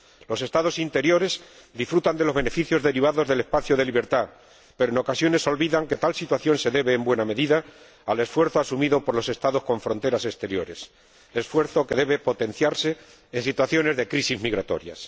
Los Estados interiores disfrutan de los beneficios derivados del espacio de libertad, pero en ocasiones olvidan que tal situación se debe, en buena medida, al esfuerzo asumido por los Estados con fronteras exteriores, esfuerzo que debe potenciarse en situaciones de crisis migratorias.